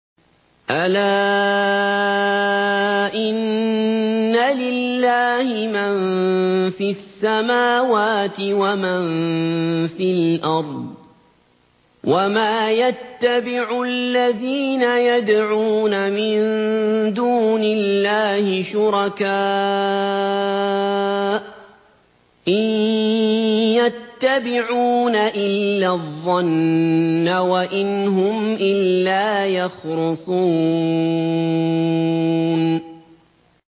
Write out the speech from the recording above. أَلَا إِنَّ لِلَّهِ مَن فِي السَّمَاوَاتِ وَمَن فِي الْأَرْضِ ۗ وَمَا يَتَّبِعُ الَّذِينَ يَدْعُونَ مِن دُونِ اللَّهِ شُرَكَاءَ ۚ إِن يَتَّبِعُونَ إِلَّا الظَّنَّ وَإِنْ هُمْ إِلَّا يَخْرُصُونَ